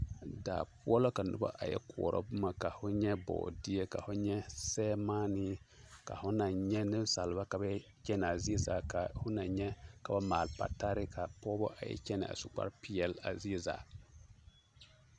Daa poɔ la ka noba a yɛ koɔrɔ boma ka ho nyɛ bɔɔdeɛ, ka ho nyɛ sɛremaanee, ka ho naŋ nyɛ nensaalba ka ba yɛ kyɛnaa zie zaa ka ho naŋ nyɛ ka ba maale patare ka pɔgebɔ a yɛ kyɛnɛ a su kpare peɛle a zie zaa.